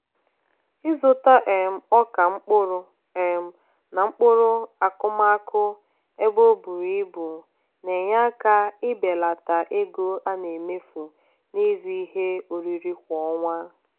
ịzụta um ọka mkpụrụ um na mkpụrụ akụmakụ ebe o bùrù ibù na-enye aka ibelata ego a na-emefu n'ịzụ ihe oriri kwa ọnwa.